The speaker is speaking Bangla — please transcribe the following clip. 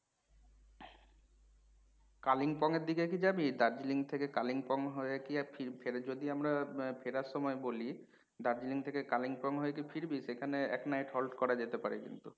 কালিংপং এর দিকে কি যাবি? দার্জিলিং থেকে কালিংপং হয়ে কি আর ফের যদি আমরা ফেরার সময় করি দার্জিলিং থেকে কালিংপং হয়ে কি ফিরবি? সেখানে এক night halt করা যেতে পারে কিন্তু।